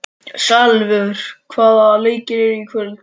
Salvör, hvaða leikir eru í kvöld?